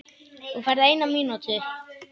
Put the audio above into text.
Þú færð eina mínútu.